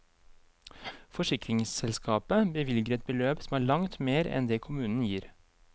Forsikringsselskapet bevilger et beløp som er langt mer enn det kommunen gir.